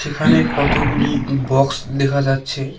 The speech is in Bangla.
এখানে কতগুলি বক্স দেখা যাচ্ছে।